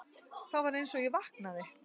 Þá var einsog ég vaknaði.